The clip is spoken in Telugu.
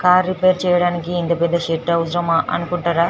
కార్ రిపేర్ చేయడానికి ఇంత పెద్ద షెడ్ అవసరమా అనుకుంటారా --